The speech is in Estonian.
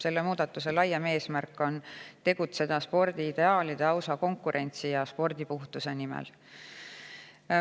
Selle muudatuse laiem eesmärk on tegutseda spordiideaalide, ausa konkurentsi ja spordipuhtuse nimel.